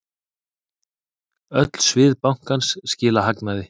Öll svið bankans skila hagnaði.